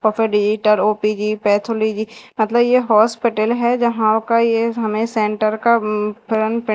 open editor O P G pathology मतलब यह hospital है जहां का ये हमें सेंटर का उम्म फ्रंट --